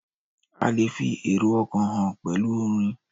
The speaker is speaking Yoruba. A lè fi èrò ọ̀kàn hàn pẹ̀lú orin